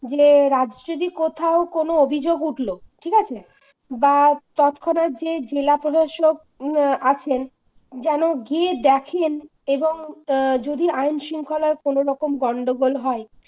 যে রাজ্যে যদি কোথাও কোনো অভিযোগ উঠল ঠিক আছে বা তৎক্ষণাৎ যে জেলা প্রশাসক আছেন যেন গিয়ে দেখেন এবং যদি আইনশৃঙ্খলা কোনরকম গন্ডগোল হয়